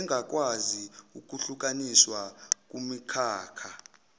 engakwazi ukuhlukaniswa kumikhakha